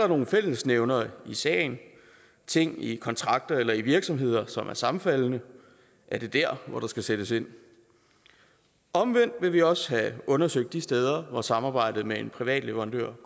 nogle fællesnævnere i sagen ting i kontrakter eller i virksomheder som er sammenfaldende er det dér der skal sættes ind omvendt vil vi også have undersøgt de steder hvor samarbejdet med en privat leverandør